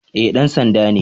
Eh, dan sanda ne